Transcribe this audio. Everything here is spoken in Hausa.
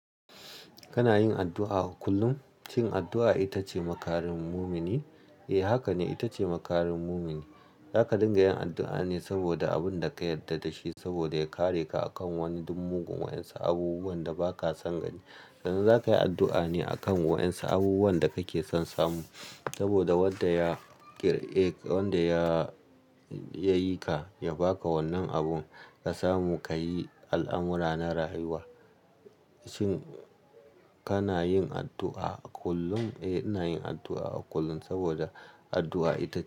Kana yin addu'a kullum? Shin addu'a ita ce makarin mumini? Eh, haka ne, ita ce makarin mumini. Zaka dinga yin addu'a ne saboda abin da ka yarda da shi saboda ya kare ka akan wani duk mugun wa'insu abubuwan da ba ka san gani. Kanan zaka yi addu'a ne akan wa'insu abubuwan da kake son samu saboda wanda ya ƙirƙ wanda ya, ya yi ka, ya ba ka wannan abun ka samu, ka yi al'amura na rayuwa. Shin kana yin addu'a kullum? Eh, ina yin addu'a kullum saboda addu'a ita--